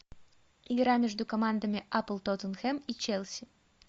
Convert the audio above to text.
игра между командами апл тоттенхэм и челси